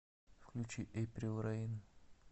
включи эйприл рэйн